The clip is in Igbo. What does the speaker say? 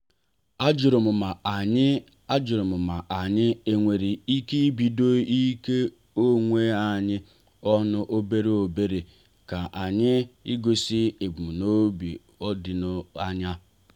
ajurum ma anyị ajurum ma anyị enwere ike ibido ijiko onwe anyị ọnụ obere obere ya na igosi ebumnobi doro anya.